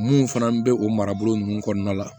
Mun fana bɛ o marabolo ninnu kɔnɔna la